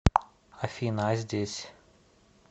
афина а здесь